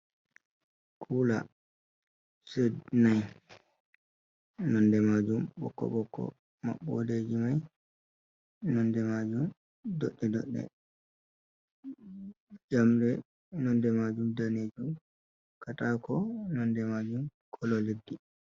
Kula set nai nonde majum bokko bokko, maɓɓoɗe ji mai nonde majum dodde ɗodɗe, njamde nonde majum danejun, katako nonde majum kolo leddi.